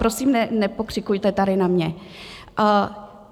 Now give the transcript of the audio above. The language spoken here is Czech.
Prosím, nepokřikujte tady na mě.